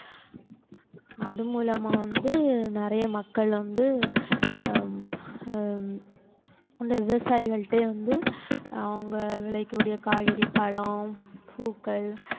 அது மூலமா வந்து நிறைய மக்கள் வந்து ஹம் ஹம் வந்து விவசாயிகள்கிட்டயே வந்து அவங்க விளைவிக்க கூடிய காய்கறி, பழம், பூக்கள்